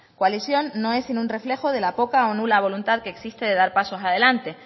coalición no es sino un reflejo de la poca o nula voluntad que existe de dar pasos adelante